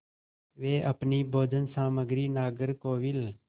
वे अपनी भोजन सामग्री नागरकोविल